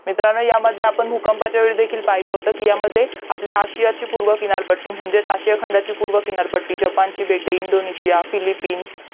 मित्रांनो ह्यामध्ये आपण भूकंपाच्यावेळी देखील पहिलं होतं की यामध्ये आपल्या आशियाची पूर्व किनारपट्टी म्हणजेच आशिया खंडाची पूर्व किनारपट्टी जपानची बेटे इंदोंनेशिया फिल्लिपिन